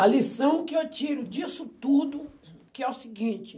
A lição que eu tiro disso tudo, que é o seguinte.